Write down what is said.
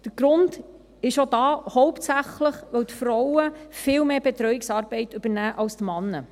Der Grund ist auch hier hauptsächlich, dass die Frauen viel mehr Betreuungsarbeit übernehmen als die Männer.